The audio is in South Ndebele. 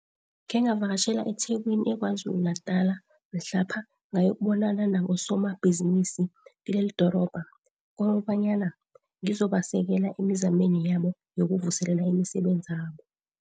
Khengavakatjhela eThekwini eKwaZuluNatala mhlapha ngayokubonana nabosomabhizinisi kilelidrobha kobanyana ngizobasekela emizameni yabo yokuvuselela imisebenzabo.